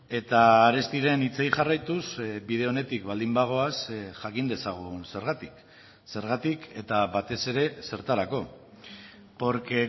eta arestiren hitzei jarraituz bide onetik baldin bagoaz jakin dezagun zergatik zergatik eta batez ere zertarako porque